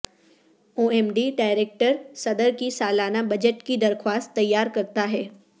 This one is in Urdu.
او ایم ڈی ڈائریکٹر صدر کی سالانہ بجٹ کی درخواست تیار کرتا ہے